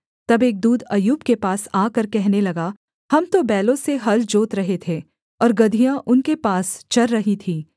तब एक दूत अय्यूब के पास आकर कहने लगा हम तो बैलों से हल जोत रहे थे और गदहियाँ उनके पास चर रही थीं